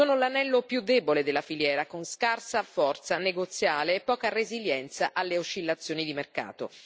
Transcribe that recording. Sono l'anello più debole della filiera con scarsa forza negoziale e poca resilienza alle oscillazioni di mercato.